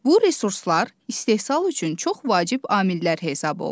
Bu resurslar istehsal üçün çox vacib amillər hesab olunur.